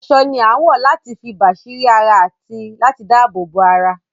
Aṣọ ni a ń wọ láti fi bàsírí ara àti láti dabobo ara